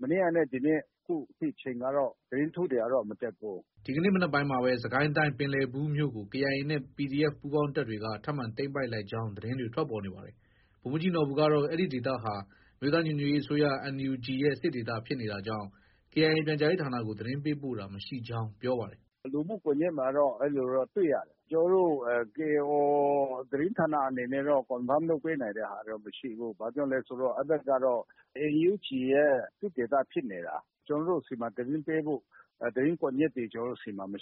မနေ့ကနဲ့ ဒီနေ့ အခထိအချိန်ကတော့ သတင်းကတော့ မတက်ဘူး။” ဒီကနေ့ မနက်ပိုင်းမှာပဲ စစ်ကိုင်းတိုင်း ပင်လည်ဘူးမြို့ကို KIA နဲ့ PDF ပူးပေါင်းတပ်တွေက ထပ်မံ သိမ်းပိုက် လိုက်ကြောင်း သတင်းတွေ ထွက်ပေါ်နေပါတယ်။ ဗိုလ်မှုးကြီးနော်ဘူကတော့ အဲဒီဒေသဟာ အမျိုးသားညီညွတ်ရေးအစိုးရ NUG ရဲ့ စစ်ဒေသဖြစ်နေတာကြောင့် KIA ပြန်ကြားရေးဌာနကို သတင်းပေးပို့တာ မရှိကြောင်း ပြောပါတယ်။ “ လူမှုကွန်ရက်မှာတော့ အဲလိုတော့ တွေ့ရတယ်။ ကျနော်တို့ KIO သတင်းဌာနအနေနဲ့တော့ Confirm လုပ်ပေးနိုင်တဲ့ဟာတော့ မရှိဘူး။ဘာကြောင့်လဲဆိုတော့ အဲဒီဘက်ကတော့ NUG ရဲ့ စစ်ဒေသ ဖြစ်နေတာ။ ကျနော်တို့ဆီမှာ သတင်းပေးဖို့ သတင်းကွန်ရက်တွေ မ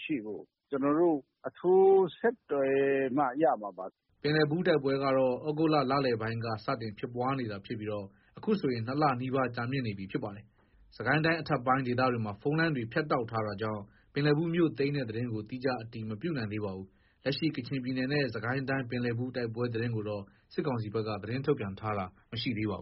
ရှိဘူး။ ကျနော်တို့ အထူး ဆက်သွယ်မှ ရမှာပါ။ ” ပင်လည်ဘူးတိုက်ပွဲကတော့ သြဂုတ်လလည်ပိုင်းက စတင်ဖြစ်ပွားနေတာဖြစ်ပြီး အခုဆိုရင် ၂လနီးပါး ကြာမြင့်လာနေပြီဖြစ်ပါတယ်။ စစ်ကိုင်းတိုင်းအထက်ပိုင်း ဒေသဘက်မှာ ဖုန်းလိုင်းတွေ ဖြတ်တောက်ထားတာကြောင့် ပင်လည်ဘူးမြို့သိမ်းတဲ့သတင်းကို သီးခြားအတည်မပြုနိုင်သေးပါဘူး။ လက်ရှိ ကချင်ပြည်နယ်နဲ့ စစ်ကိုင်းတိုင်း ပင်လည်ဘူးတိုက်ပွဲသတင်းကိုတော့ စစ်ကောင်စီဘက်က ထုတ်ပြန်ထားတာ မရှိသေးပါဘူး